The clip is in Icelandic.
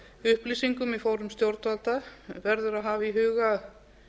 upplýsingum í fórum stjórnvalda verður að hafa í huga